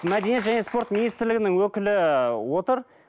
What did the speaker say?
мәдениет және спорт министрлігінің өкілі ы отыр